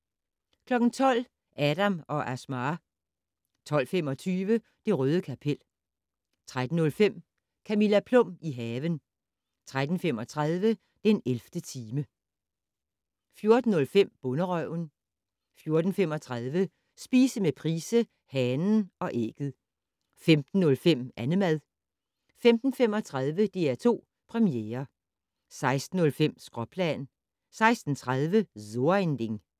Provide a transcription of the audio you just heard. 12:00: Adam & Asmaa 12:25: Det røde kapel 13:05: Camilla Plum - i haven 13:35: den 11. time 14:05: Bonderøven 14:35: Spise med Price - Hanen og ægget 15:05: Annemad 15:35: DR2 Premiere 16:05: Skråplan 16:30: So ein Ding